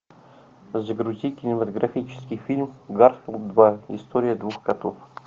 загрусти кинематографический фильм гарфилд два история котов